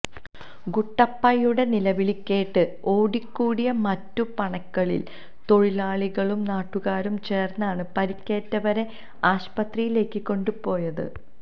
ഗുട്ടപ്പയുടെ നിലവിളികേട്ട് ഓടിക്കൂടിയ മറ്റുപണകളിലെ തൊഴിലാളികളും നാട്ടുകാരും ചേര്ന്നാണ് പരിക്കേറ്റവരെ ആസ്പത്രിയിലേക്ക് കൊണ്ടുപോയത്